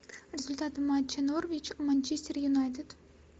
результаты матча норвич манчестер юнайтед